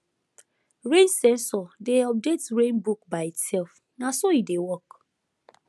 rain sensor dey update rain book by itself na so e dey work